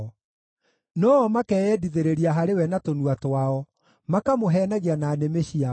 No-o makeyendithĩrĩria harĩ we na tũnua twao, makamũheenagia na nĩmĩ ciao;